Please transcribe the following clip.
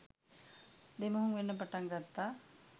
දෙමුහුම් වෙන්න පටන් ගත්තා.